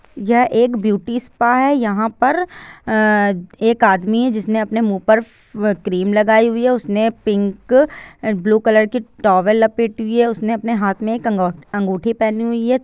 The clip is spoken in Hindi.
यह एक ब्यूटी स्पा है यहाँ पर एक आदमी है जिसने अपने मुह पर क्रीम लगाई हुई है उसने पिंक और ब्लू कलर की टोवेल लपेटी हुई है उसने अपने एक हाथ मे अंगूठी पहनी हुई है।